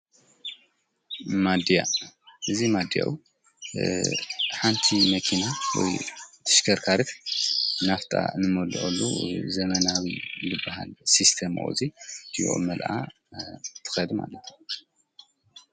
ማዲያ እዙይ ማዲያኡ ሓንቲ መኪና ወይ ትሽከርካርት ናፍታ ንመልአሉ ዘመናዊ ልብሃል ስስተመወዙይ ድወ መልኣ ትኸድሚ ኣለቶ።